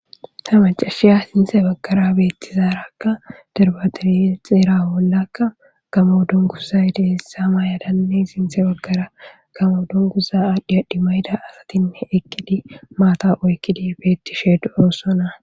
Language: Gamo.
Ta macashiya sinte baggara beettizaarakka darbadirixiera bollakka gamo dongusa deessa maayadanne sinthe baggara gamo dunguza adhiadhi mayda asatin ekkidi maata oykkidi beettishe dooossana.